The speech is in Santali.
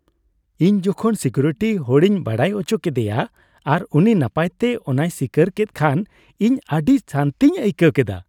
ᱤᱧ ᱡᱚᱠᱷᱚᱱ ᱥᱤᱠᱤᱣᱤᱨᱴᱤ ᱦᱚᱲᱤᱧ ᱵᱟᱰᱟᱭ ᱟᱪᱚ ᱠᱮᱫᱮᱭᱟ ᱟᱨ ᱩᱱᱤ ᱱᱟᱯᱟᱭᱛᱮ ᱚᱱᱟᱭ ᱥᱤᱠᱟᱹᱨ ᱠᱮᱫ ᱠᱷᱟᱱ ᱤᱧ ᱟᱹᱰᱤ ᱥᱟᱹᱱᱛᱤᱧ ᱟᱹᱭᱠᱟᱹᱣ ᱠᱮᱫᱟ ᱾